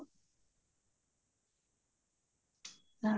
ਹਮ